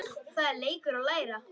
Það er leikur að læra